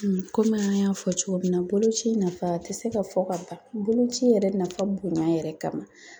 Komi an y'a fɔ cogo min na , boloci nafa tɛ se ka fɔ ka ban, boloci yɛrɛ nafa bonya yɛrɛ kama.